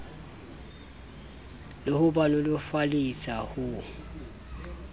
le ho ba nolofaletsa ho